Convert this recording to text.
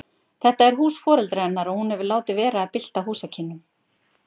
Þetta er hús foreldra hennar og hún hefur látið vera að bylta húsakynnum.